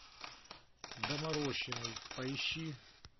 доморощенный поищи